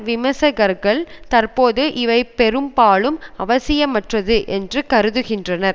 விமர்சகர்கள் தற்போது இவை பெரும்பாலும் அவசியமற்றது என்று கருதுகின்றனர்